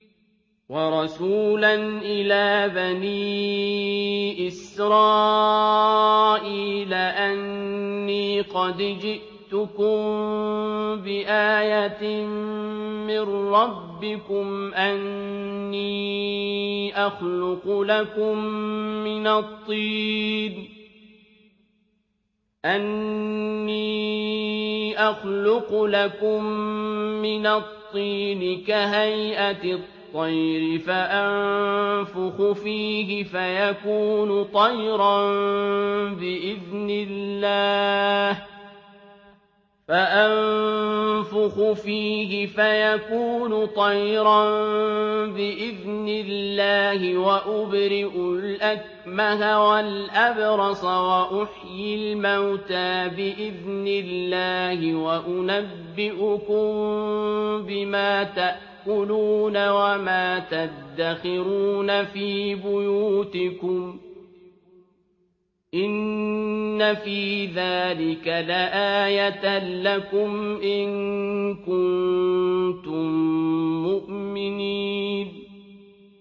وَرَسُولًا إِلَىٰ بَنِي إِسْرَائِيلَ أَنِّي قَدْ جِئْتُكُم بِآيَةٍ مِّن رَّبِّكُمْ ۖ أَنِّي أَخْلُقُ لَكُم مِّنَ الطِّينِ كَهَيْئَةِ الطَّيْرِ فَأَنفُخُ فِيهِ فَيَكُونُ طَيْرًا بِإِذْنِ اللَّهِ ۖ وَأُبْرِئُ الْأَكْمَهَ وَالْأَبْرَصَ وَأُحْيِي الْمَوْتَىٰ بِإِذْنِ اللَّهِ ۖ وَأُنَبِّئُكُم بِمَا تَأْكُلُونَ وَمَا تَدَّخِرُونَ فِي بُيُوتِكُمْ ۚ إِنَّ فِي ذَٰلِكَ لَآيَةً لَّكُمْ إِن كُنتُم مُّؤْمِنِينَ